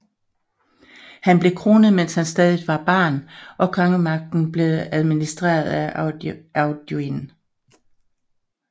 Han blev kronet mens han stadig var barn og kongemagten blev administreret af Audoin